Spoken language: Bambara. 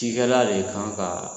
Cikɛla de kan ka